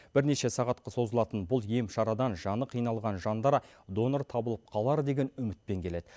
бірнеше сағатқа созылатын бұл ем шарадан жаны қиналған жандар донор табылып қалар деген үмітпен келеді